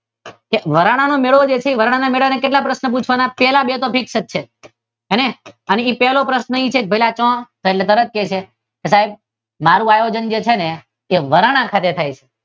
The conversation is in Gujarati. વરાણાનો મેળો છે જે વરાણા ના મેળાના કેટલા પ્રશ્ન પૂછવાના પેલા બે તો ફિક્સ જ છે અને પહેલો પ્રશ્ન એ છે કે ભાઇલા ક્યાં? એટલે તરત જ કહે છે મારુ આયોજન છે ને વરાણા ખાતે થાય છે.